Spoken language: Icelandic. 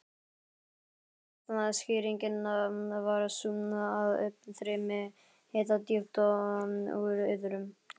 Líklegasta skýringin var sú, að uppstreymi hita djúpt úr iðrum